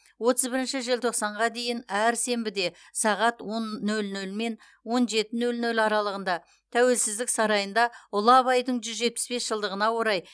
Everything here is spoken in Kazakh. отыз бірінші желтоқсанға дейін әр сенбіде сағат он нөл нөлмен он жеті нөл нөл аралығында тәуелсіздік сарайында ұлы абайдың жүз жетпіс бес жылдығына орай